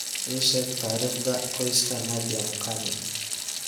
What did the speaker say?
ii sheeg taariikhda qoyska Nadia Mukami